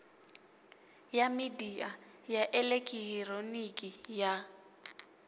ya midia ya elekihironiki ya